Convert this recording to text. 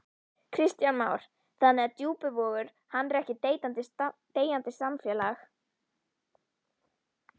Kristján Már: Þannig að Djúpivogur, hann er ekkert deyjandi samfélag?